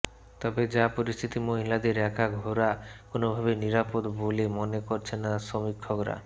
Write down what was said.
তবে যা পরিস্থিতি মহিলাদের একা ঘোরা কোনওভাবেই নিরাপদ বলে মনে করছেন না সমীক্ষকরা